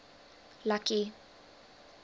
lucky